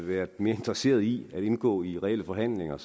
været mere interesseret i at indgå i reelle forhandlinger